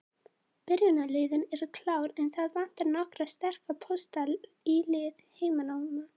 Byrjunarliðin eru klár, en það vantar nokkra sterka pósta í lið heimamanna.